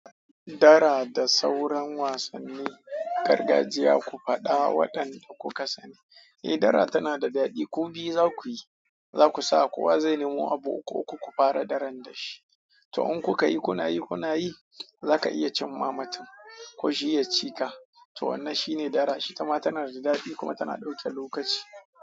Dara da sauran wasannin gargajiya ku faɗa waɗanda kuka sani. Eh, dara tana da daɗi. Ku biyu za ku yi, za ku sa kowa zai nemo abu uku uku, ku fara daran da shi. To in kuka yi, kuna yi, kuna yi, za ka iya cimma matun ko shi ya ci ka. To wannan shine dara. Ita ma tana da daɗi kuma tana ɗauke lokaci.